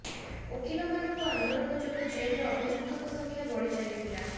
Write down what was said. ଓକିଲ ମାନଙ୍କ ଆନ୍ଦୋଳନ ଯୋଗୁଁ ଜେଲରେ ଅଭିଯୁକ୍ତଙ୍କ ସଂଖ୍ୟା ବଢି ଚାଳିଥିଲା